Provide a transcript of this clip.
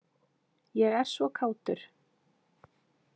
ég er svo kátur.